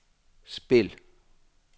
spil